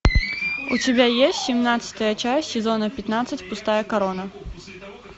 у тебя есть семнадцатая часть сезона пятнадцать пустая корона